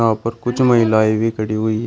यहां पर कुछ महिलाएं भी खड़ी हुई है।